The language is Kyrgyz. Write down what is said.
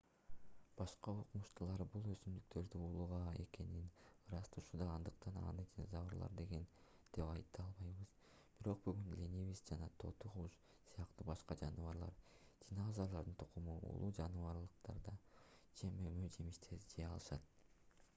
башка окумуштуулар бул өсүмдүктөрдүн уулуу экенин ырасташууда андыктан аны динозаврлар жеген деп айта албайбыз. бирок бүгүн ленивец жана тоту куш сыяктуу башка жаныбарлар динозаврлардын тукуму уулуу жалбырактарды же мөмө-жемиштерди жей алышат